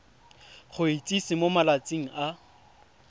go itsise mo malatsing a